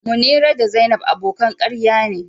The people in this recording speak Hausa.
Munira da zainab abokan karya ne.